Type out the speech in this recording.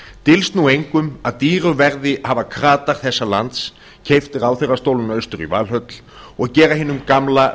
dylst nú engum að dýru verði hafa kratar þessa lands keypt ráðherrastólana austur í valhöll og gera hinum gamla